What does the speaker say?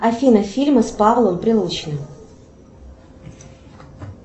афина фильмы с павлом прилучным